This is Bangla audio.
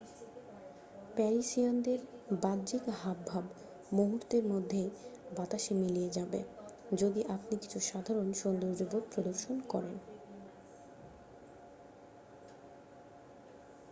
প্যারিসিয়ানদের বাহ্যিক হাবভাব মুহূর্তের মধ্য বাতাসে মিলিয়ে যাবে যদি আপনি কিছু সাধারণ সৌজন্যবোধ প্রদর্শন করেন